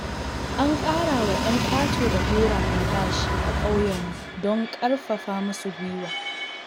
An ƙarawa 'yan ƙato da gora albashi a ƙauyenmu don ƙarfafa musu guiwa.